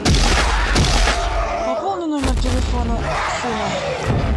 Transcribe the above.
пополни номер телефона сына